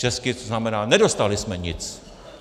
Česky to znamená, nedostali jsme nic.